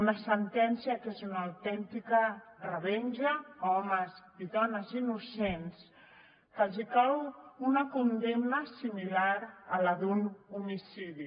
una sentència que és una autèntica revenja a homes i dones innocents que els cau una condemna similar a la d’un homicidi